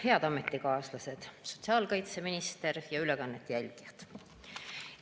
Head ametikaaslased, sotsiaalkaitseminister ja ülekande jälgijad!